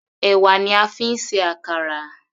Ẹ̀wà ni a fi ń ṣe àkàrà.